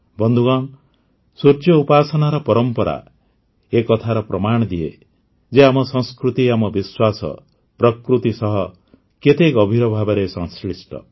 ବନ୍ଧୁଗଣ ସୂର୍ଯ୍ୟ ଉପାସନାର ପରମ୍ପରା ଏ କଥାର ପ୍ରମାଣ ଦିଏ ଯେ ଆମ ସଂସ୍କୃତି ଆମ ବିଶ୍ୱାସ ପ୍ରକୃତି ସହ କେତେ ଗଭୀର ଭାବେ ସଂଶ୍ଲିଷ୍ଟ